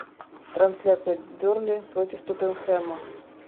трансляция бернли против тоттенхэма